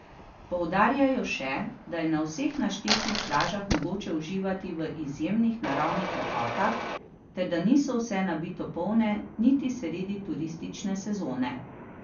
Poudarjajo še, da je na vseh naštetih plažah mogoče uživati v izjemnih naravnih lepotah ter da niso vse nabito polne niti sredi turistične sezone.